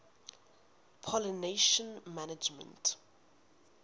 pollination management